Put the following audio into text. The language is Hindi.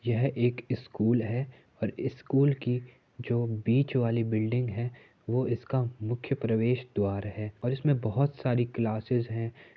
यह एक स्कूल है और स्कूल की जो बीच वाली बिल्डिंग है। वो इसका मुख्य प्रवेश द्वार है और इसमें बहुत सारी क्लासेस हैं।